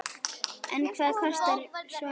En hvað kostar svona gæsla?